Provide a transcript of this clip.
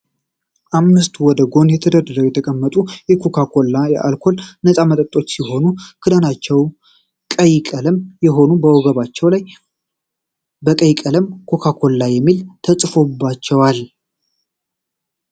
አምስት ወደ ጎን ተደርድረው የተቀመጡ የኮካ ኮላ ከአልኮል ነጻ መጠጦች ሲሆኑ፤ ክዳናቸው ቀይ ቀለም የሆኑ ከወገባቸው ላይ በቀይ ቀለም ኮካ ኮላ የሚል ተጽፎባቸዋል።